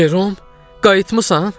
Cerom, qayıtmısan?